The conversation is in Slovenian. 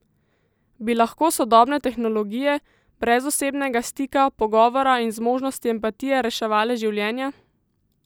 Bi lahko sodobne tehnologije, brez osebnega stika, pogovora in zmožnosti empatije, reševale življenja?